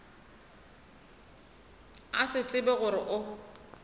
a se tsebe gore o